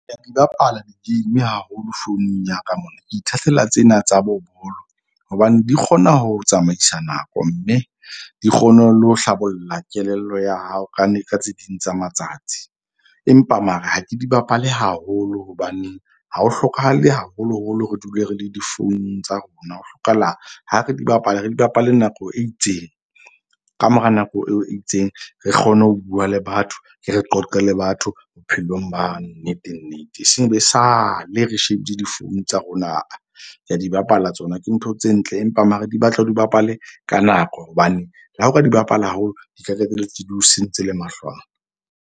Ka di bapala di-game haholo founung ya ka mona. Ke ithatela tsena tsa bo bolo. Hobane di kgona ho tsamaisa nako mme di kgone le ho hlabolla kelello ya hao ka tse ding tsa matsatsi. Empa mara ha ke di bapale haholo. Hobaneng ha ho hlokahale haholoholo re dule re le difounung tsa rona, ho hlokahala ha re di bapala, re di bapale nako e itseng ka mora nako eo e itseng, re kgone ho bua le batho, ke re qoqe le batho bophelong ba nnete nnete. Eseng e be sale re shebile di-phone tsa rona aa. Ke a di bapala tsona ke ntho tse ntle empa mara di batla o di bapale ka nako. Hobane le ha o ka di bapala haholo, di tla qetelletse di o sentse le mahlo a.